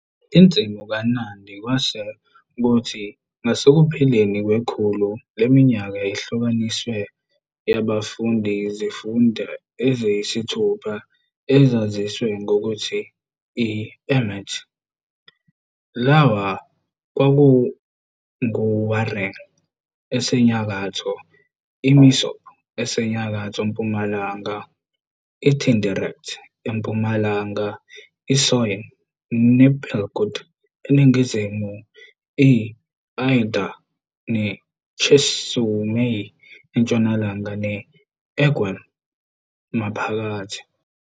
Insimu kaNandi kwase kuthi ngasekupheleni kwekhulu leminyaka ihlukaniswe yaba izifunda eziyisithupha ezaziwa ngokuthi i- "emet". Lawa kwakunguWareng, asenyakatho, iMosop esenyakatho-mpumalanga, iTindiret empumalanga, iSoyiin nePelkut eningizimu, i-Aldai neChesumei entshonalanga ne-Emgwen maphakathi.